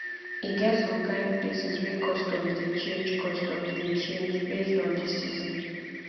e get som kain places wey customs dey change customs dey change based on de season